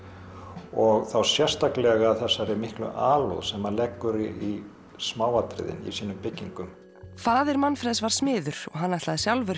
og þá sérstaklega þessari miklu alúð sem hann leggur í smáatriðin í sínum byggingum faðir Manfreðs var smiður og hann ætlaði